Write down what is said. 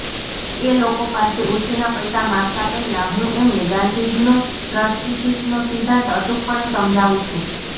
એ લોકો પાસે ઉછીના પૈસા માગતાં પહેલાં હું એમને ગાંધીજીનો ટ્રસ્ટીશિપનો સિદ્ધાંત અચૂકપણે સમજાવું છું